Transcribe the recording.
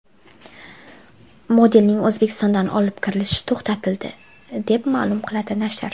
Modelning O‘zbekistondan olib kirilishi to‘xtatildi, deb ma’lum qiladi nashr.